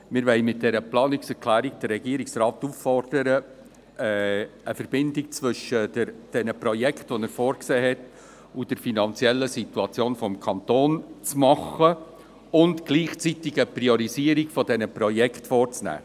Wir wollen mit dieser Planungserklärung den Regierungsrat auffordern, eine Verbindung zwischen den Projekten, die er vorgesehen hat, und der finanziellen Situation des Kantons herzustellen und gleichzeitig eine Priorisierung dieser Projekte vorzunehmen.